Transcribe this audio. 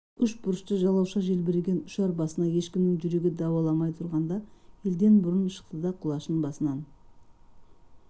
үшбұрышты жалауша желбіреген ұшар басына ешкімнің жүрегі дауаламай тұрғанда елден бұрын шықты да құлашын басынан